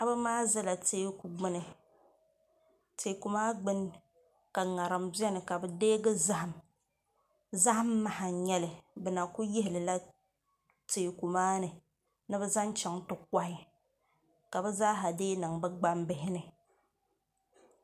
Paɣaba maa ʒɛla teeku gbuni teeku maa gbuni ka ŋarim biɛni ka bi deegi zaham zaham maha n nyɛli bi na ku yihilila teeku maa ni ni bi zaŋ chɛŋ ti kohi ka bi zaaha deei niŋ bi gbambihi ni